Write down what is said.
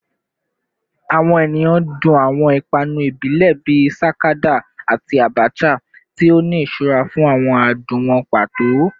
Awọn eniyan dun awọn ipanu ibile bii sakada ati abacha, ti o ni iṣura fun awọn adun wọn pato